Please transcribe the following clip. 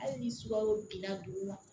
Hali ni sukaro binna dugu ma